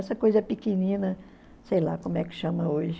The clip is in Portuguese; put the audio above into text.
Essa coisa pequenina, sei lá como é que chama hoje.